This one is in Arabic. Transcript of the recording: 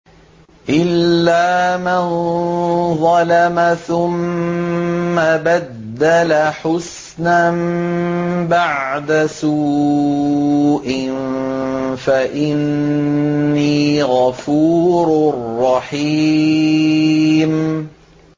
إِلَّا مَن ظَلَمَ ثُمَّ بَدَّلَ حُسْنًا بَعْدَ سُوءٍ فَإِنِّي غَفُورٌ رَّحِيمٌ